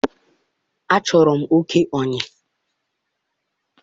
achọrọ m oke oyi